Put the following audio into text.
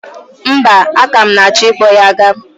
Mba, aka m na-achọ i kpọ ya ga.